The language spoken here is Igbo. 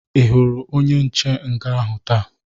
Ị hụrụ onye nche nga ahụ taa?